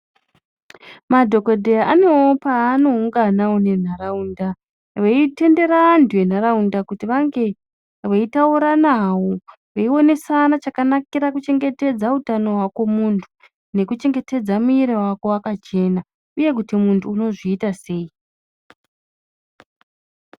Madhokodheya anewo panounganawo munharaunda veitendera vantu venharaunda kuti ange eitaura nawo veionesana chakanakira kuchengetedza hwako muntu nekuchengetedza mwiri wako uye muntu kuti unozviita sei.